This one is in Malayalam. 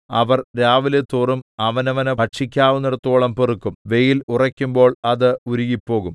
അവർ രാവിലെതോറും അവനവന് ഭക്ഷിക്കാവുന്നേടത്തോളം പെറുക്കും വെയിൽ ഉറയ്ക്കുമ്പോൾ അത് ഉരുകിപ്പോകും